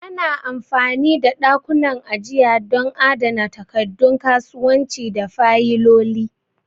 Ana amfani da ɗakunan ajiya don adana takaddun kasuwanci da fayiloli.